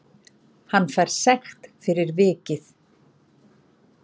Hann fær sekt fyrir vikið